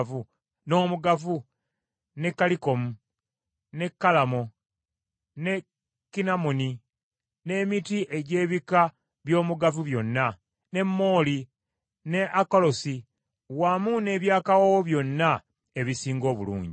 n’omugavu ne kalikomu, ne kalamo ne kinamoni, n’emiti egy’ebika by’omugavu byonna, ne mooli ne alowe, wamu n’eby’akawoowo byonna ebisinga obulungi.